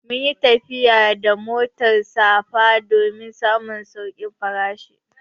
Mun yi tafiya da motar safa don samun saukin farashi